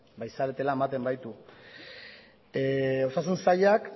zaretela ematen baitu osasun sailak